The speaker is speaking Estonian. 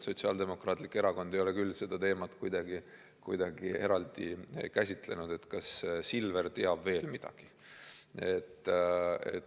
Sotsiaaldemokraatlik Erakond ei ole küll seda teemat kuidagi eraldi käsitlenud, et kas Silver teab veel midagi.